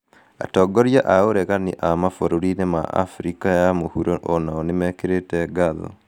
Atongoria a ũregani a mabũrũri-inĩ ma Abirika ya mũhuro o nao nĩ mekĩrĩte ngatho.